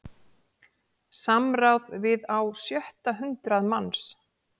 Samráð við á sjötta hundrað manns